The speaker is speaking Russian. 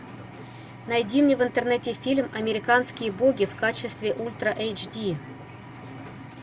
найди мне в интернете фильм американские боги в качестве ультра эйч ди